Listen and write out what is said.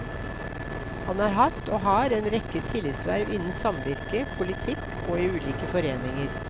Han har hatt og har en rekke tillitsverv innen samvirke, politikk og i ulike foreninger.